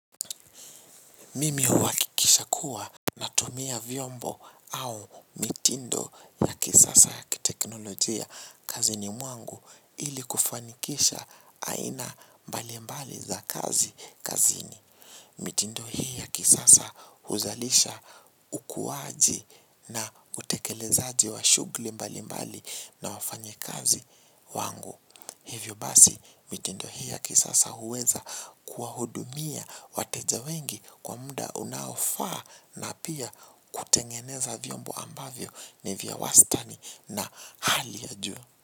Mimi huhakikisha kuwa natumia vyombo au mitindo ya kisasa ya kiteknolojia kazini mwangu ili kufanikisha aina mbalimbali za kazi kazini. Mitindo hii ya kisasa huzalisha ukuwaji na utekelezaji wa shughuli mbalimbali na wafanyakazi wangu. Hivyo basi mitendo hii ya kisasa huweza kuwahudumia wateja wengi kwa muda unaofaa na pia kutengeneza vyombo ambavyo ni vya wastani na hali ya juu.